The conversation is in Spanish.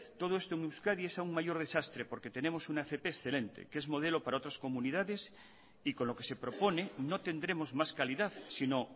todo esto en euskadi es aún mayor desastre porque tenemos una fp excelente que es modelo para otras comunidades y con lo que se propone no tendremos más calidad sino